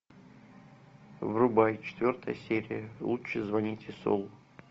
врубай четвертая серия лучше звоните солу